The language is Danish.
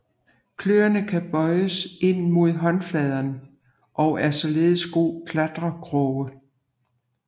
Kløerne kan bøjes ind mod håndfladen og er således gode klatrekroge